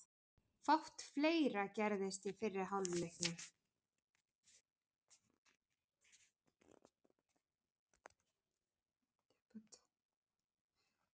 Fátt fleira gerðist í fyrri hálfleiknum.